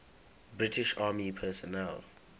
british army personnel